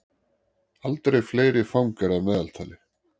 Aldrei fleiri fangar að meðaltali